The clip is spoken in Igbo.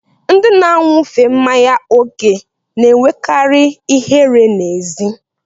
Ndị na-aṅufe mmanya oke na-enwekarị ihere n'ezi.